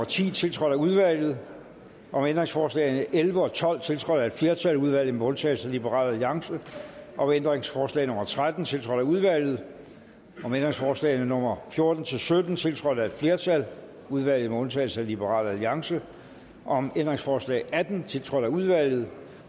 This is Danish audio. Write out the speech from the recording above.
ti tiltrådt af udvalget om ændringsforslagene elleve og tolv tiltrådt af et flertal i udvalget med undtagelse af liberal alliance om ændringsforslag nummer tretten tiltrådt af udvalget om ændringsforslagene nummer fjorten til sytten tiltrådt af et flertal i udvalget med undtagelse af liberal alliance om ændringsforslag atten tiltrådt af udvalget